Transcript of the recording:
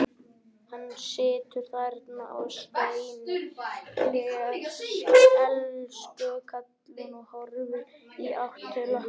Hann situr þarna á steini, elsku kallinn, og horfir í átt til okkar.